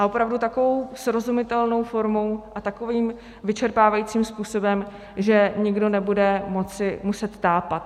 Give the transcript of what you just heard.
A opravdu takovou srozumitelnou formou a takovým vyčerpávajícím způsobem, že nikdo nebude moci muset tápat.